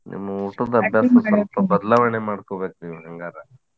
ನಿಮ್ಮ ಮಾಡ್ಕೊಬೇಕ್ರಿ ನೀವ್ ಹೆಂಗಾರ.